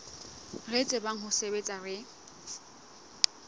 re tsebang ho sebetsa re